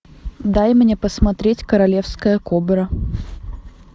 дай мне посмотреть королевская кобра